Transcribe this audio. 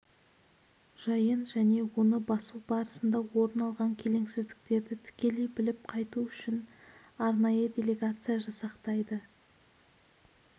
жайын және оны басу барысында орын алған келеңсіздіктерді тікелей біліп қайту үшін арнайы делегация жасақтайды